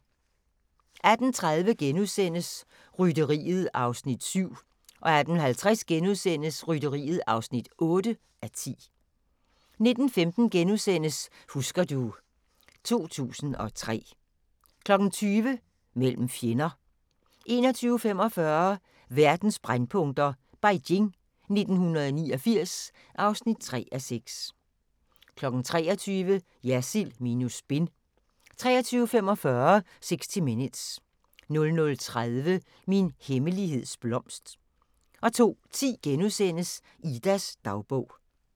18:30: Rytteriet (7:10)* 18:50: Rytteriet (8:10)* 19:15: Husker du ... 2003 * 20:00: Mellem fjender 21:45: Verdens brændpunkter: Beijing 1989 (3:6) 23:00: Jersild minus spin 23:45: 60 Minutes 00:30: Min hemmeligheds blomst 02:10: Idas dagbog *